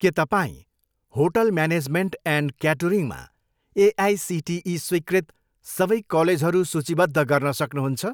के तपाईँँ hotel management and क्याटरिङमा एआइसिटिई स्वीकृत सबै कलेजहरू सूचीबद्ध गर्न सक्नुहुन्छ?